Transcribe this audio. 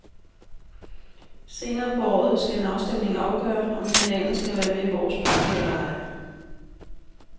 Senere på året skal en afstemning afgøre, om kanalen skal være med i vores pakke eller ej.